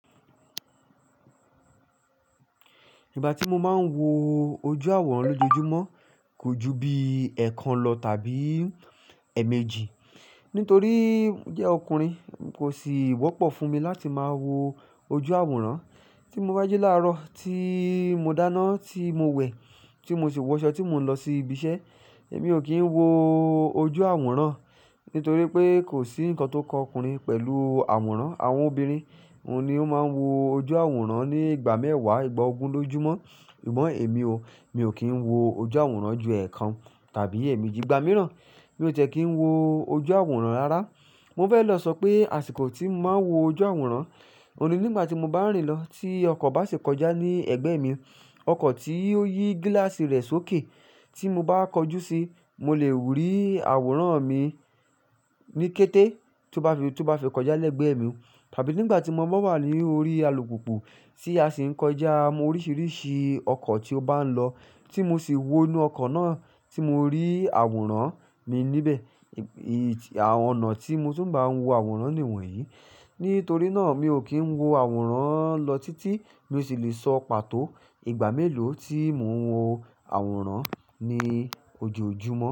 Ìgbà tí mo máa ń wo ojú àwòrán lójoojúmọ́ kò ju bí ẹ̀ẹ̀kan lọ tàbí ẹ̀ẹ̀mejì. Nítorí jẹ́ ọkùnrin kò sì wọ́pọ̀ fún mi láti máa wo ojú àwòrán. Tí mo bá jí láàárọ̀, tí mo dáná, tí mo wẹ̀, tí mo sì wọṣọ, tí mo ń lọ sí ibi iṣẹ́, èmi ò kí ń wo ojú àwòrán. Nítorí pé kò sí ǹkan tó kọ ọkùnrin pẹ̀lú àwòrán. Àwọn obìnrin ni ó máa ń wo ojú àwòrán ní ìgbà mẹ́wàá, ìgbà ogún lójúmọ́. Sùgbón èmi o, mi ò kí ń wo ojú àwòrán ju ẹ̀ẹ̀kan tàbí ẹ̀ẹ̀mejì, ìgbà mìíràn mi ò tẹ ki ń wo ojú àwòrán rárá. Mo fẹ́ lọ sọ pé àsìkò tí mo máa ń wo ojú àwòrán, òun ni nígbà tí mo bá ń rìn lọ, tí ọkọ̀ bá sì kọjá ní ẹ̀gbẹ́ mi. Ọkọ̀ tí ó yí gíláàsì rẹ̀ sókè, tí mo bá kọjú si, mo lè wùrí àwòrán mi ní kété tó bá ri, tó bá fi kọjá lẹ́gbẹ́ mi. Tàbí nígbà tí mo bá wà ní orí alùpùpù tí a sì ń kọjá mo oríṣiríṣi ọkọ̀ tí ó bá ń lọ tí mo sì wọ inú ọkọ̀ náà tí mo rí àwòrán mi níbẹ̀. Ì-- àwọn ọ̀nà tí mo tún bá ń wo àwòrán ni wọ̀nyí. Nítorí náà mi ò kí ń wo àwòrán lọ títí mo sì lè sọ pàtó ìgbà mélòó tí mo ń wo àwòrán ní ojoojúmọ́.